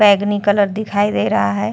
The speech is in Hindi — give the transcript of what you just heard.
बैंगनी कलर का दिखाई दे रहा है।